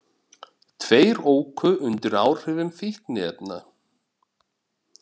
Tveir óku undir áhrifum fíkniefna